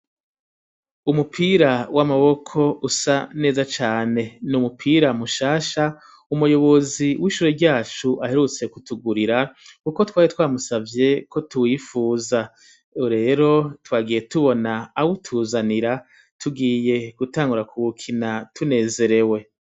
Umupira w'amaboko usa neza cane n'umupira mu shasha umuyobozi w'ishure ryacu aherutse ku tugurira kuko twari twamusavye ko tuwifuza rero twagiye tubona awu tuzanira tugiye gutangura ku wukina tunezerewe